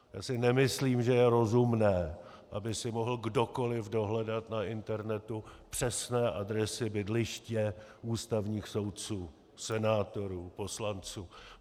Já si nemyslím, že je rozumné, aby si mohl kdokoliv dohledat na internetu přesné adresy bydliště ústavních soudců, senátorů, poslanců.